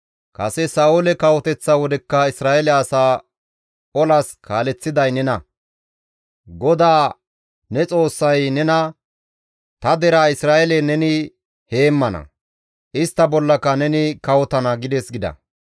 Kase Sa7oole kawoteththa wodekka Isra7eele asaa olas kaaleththiday nena; GODAA ne Xoossay nena, ‹Ta deraa Isra7eele neni heemmana; istta bollaka neni kawotana› gides» gida.